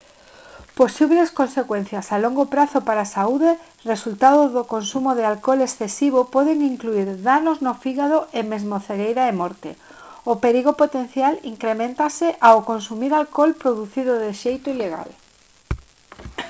posibles consecuencias a longo prazo para a saúde resultado do consumo de alcohol excesivo poden incluír danos no fígado e mesmo cegueira e morte o perigo potencial increméntase ao consumir alcohol producido de xeito ilegal